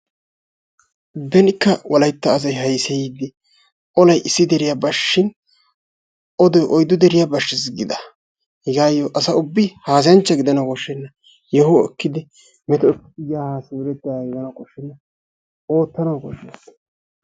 Benikka wolaytta asay hayseyiidi olay issi deriya bashshin odoy oyddu deriyaa bashshiis giida hegaayoo asa ubbi haasayanchcha gidanawu koshshena. Yoho ekkedi metootidi yaa haa simerettiyaagaa gidanawu koshshenna, oottanawu koshshees.